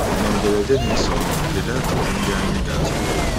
N’ederede na-esonụ, kedụ ajụjụ ndị anyị ga-atụle?